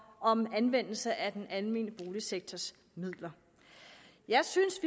om anvendelsen af den almene boligsektors midler jeg synes